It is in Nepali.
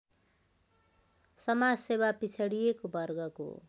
समाजसेवा पिछडिएको वर्गको